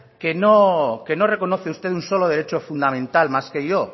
que no reconoce usted un solo derecho fundamental más que yo